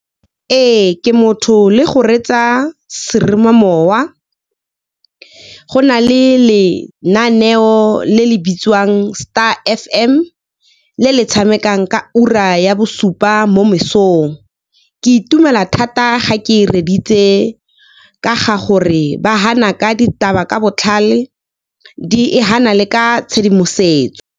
Ee, ke motho le go reetsa seromamowa. Go na le lenaneo le le bitsiwang Star F_M, le le tshamekang ka ura ya bosupa mo mesong. Ke itumela thata ga ke e reeditse, ka ga gore ba hana ka ditaba ka botlhale e hana le ka tshedimosetso.